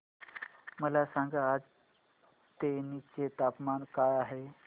मला सांगा आज तेनी चे तापमान काय आहे